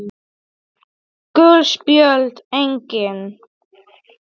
Gul spjöld: Engin.